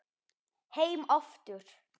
Heim aftur